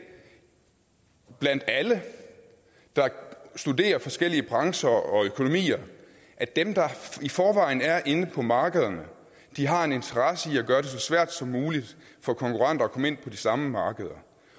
blandt alle der studerer forskellige brancher og økonomier at dem der i forvejen er inde på markederne har en interesse i at gøre det så svært som muligt for konkurrenter at komme ind på de samme markeder